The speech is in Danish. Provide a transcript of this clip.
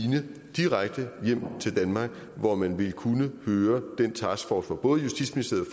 direkte hjem til danmark hvor man vil kunne høre den taskforce hvor både justitsministeriet